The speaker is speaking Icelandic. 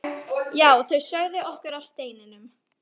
Já, þau sögðu okkur af steininum.